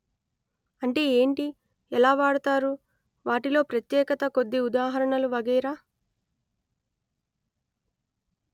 అంటే ఏంటి ఎలా వాడుతారు వాటిలో ప్రత్యేకత కొద్ది ఉదాహరణలు వగైరా